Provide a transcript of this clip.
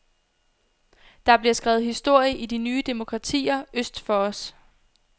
Der bliver skrevet historie i de nye demokratier øst for os.